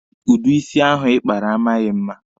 Udi isi ahụ Ị kpara a maghị mma.